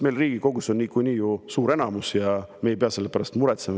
Meil Riigikogus on ju suur enamus ja me ei pea selle pärast muretsema.